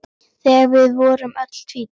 Þegar við vorum öll tvítug.